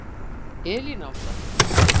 Elín Ása.